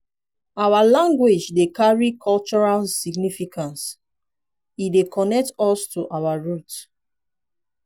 our language dey carry cultural significance; e dey connect us to our roots.